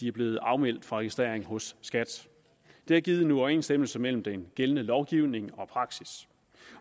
er blevet afmeldt registrering hos skat det har givet en uoverensstemmelse mellem den gældende lovgivning og praksis